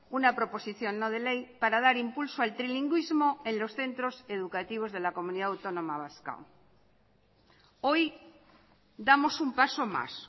una proposición no de ley para dar impulso al trilingüismo en los centros educativos de la comunidad autónoma vasca hoy damos un paso más